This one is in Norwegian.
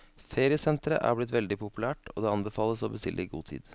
Feriesentre er blitt veldig populært, og det anbefales å bestille i god tid.